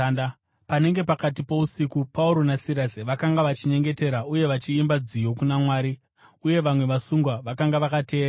Panenge pakati pousiku, Pauro naSirasi vakanga vachinyengetera uye vachiimba nziyo kuna Mwari, uye vamwe vasungwa vakanga vakavateerera.